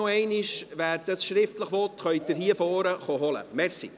wer ihn schriftlich will, kann ihn hier vorne holen kommen, danke.